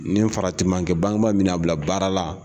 Nin farati ma kɛ bangeba mina a bila baara la.